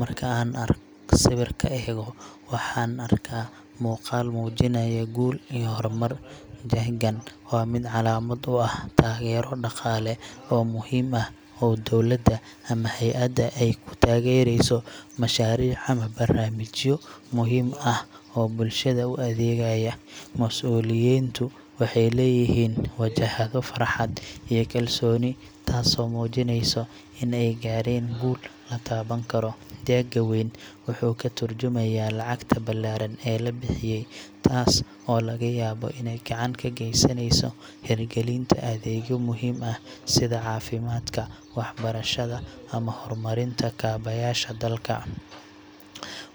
Marka aan sawirka eego, waxaan arkaa muuqaal muujinaya guul iyo horumar. Jeeggan waa mid calaamad u ah taageero dhaqaale oo muhiim ah oo dowladda ama hay'adda ay ku taageerayso mashaariic ama barnaamijyo muhiim ah oo bulshada u adeegaya. Mas'uuliyiintu waxay leeyihiin wajahado farxad iyo kalsooni, taasoo muujinaysa in ay gaareen guul la taaban karo. Jeegga weyn wuxuu ka tarjumayaa lacagta ballaaran ee la bixiyay, taas oo laga yaabo inay gacan ka geysanayso hirgelinta adeegyo muhiim ah sida caafimaadka, waxbarashada, ama horumarinta kaabayaasha dalka.